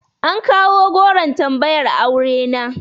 An kawo goron tambayar aure na.